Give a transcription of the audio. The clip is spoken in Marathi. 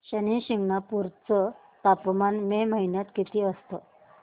शनी शिंगणापूर चं तापमान मे महिन्यात किती असतं